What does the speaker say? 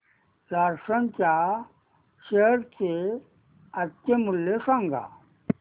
Larsen च्या share चे आजचे मूल्य सांगा